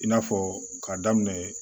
I n'a fɔ k'a daminɛ